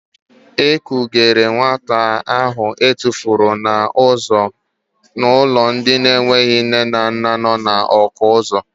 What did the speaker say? E kujere nwata ahụ etufuru n'ụzọ n'ụlọ ndị enweghị nne na nna nọ na Ọkụzụ.